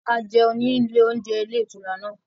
A jẹun ní ilé oúnjẹ ilé ìtura náà